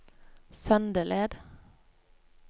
Søndeled